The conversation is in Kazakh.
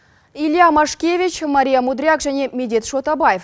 илья машкевич марья мудряк және медет шотабаев